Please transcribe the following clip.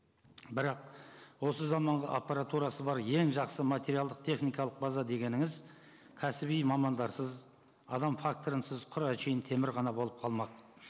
бірақ осы заманғы аппаратурасы бар ең жақсы материалдық техникалық база дегеніңіз кәсіби мамандарсыз адам факторысыз құр әншейін темір ғана болып қалмақ